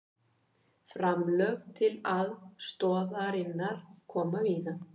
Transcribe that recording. Framlög til aðstoðarinnar koma víða